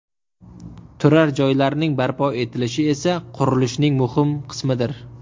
Turar joylarning barpo etilishi esa qurilishning muhim qismidir.